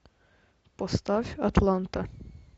поставь атланта